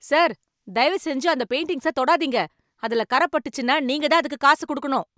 Sir தயவு செஞ்சு அந்த பெயிண்டிங்ஸை தொடாதீங்க. அதுல கரை பட்டுச்சுன்னா, நீங்கதான் அதுக்கு காசு கொடுக்கணும்.